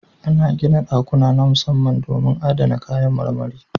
Ana gina ɗakuna na musamman domin adana kayan marmari.